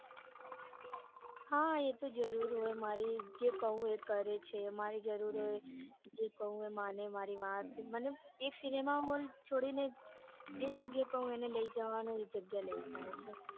હા એતો જરૂર હોય મારી જે કૌ એ કરે છે મારી જરૂર હોય એ કૌ એ માને મારી વાત મને એક cinema hall છોડીને જે જગ્યાએ કૌ એને લઇ જવાનું ત્યાં લઇ જાય.